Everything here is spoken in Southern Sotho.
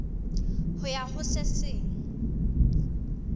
ho ya ho se seng